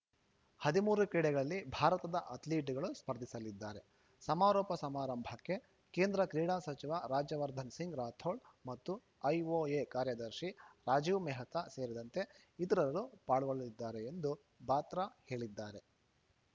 ಹದಿಮೂರು ಕ್ರೀಡೆಗಳಲ್ಲಿ ಭಾರತದ ಅಥ್ಲೀಟ್‌ಗಳು ಸ್ಪರ್ಧಿಸಲಿದ್ದಾರೆ ಸಮಾರೋಪ ಸಮಾರಂಭಕ್ಕೆ ಕೇಂದ್ರ ಕ್ರೀಡಾ ಸಚಿವ ರಾಜ್ಯವರ್ಧನ್‌ ಸಿಂಗ್‌ ರಾಥೋಡ್‌ ಮತ್ತು ಐಒಎ ಕಾರ್ಯದರ್ಶಿ ರಾಜೀವ್‌ ಮೆಹ್ತಾ ಸೇರಿದಂತೆ ಇತರರ ಪಾಲ್ಗೊಳ್ಳಲಿದ್ದಾರೆ ಎಂದು ಬಾತ್ರಾ ಹೇಳಿದ್ದಾರೆ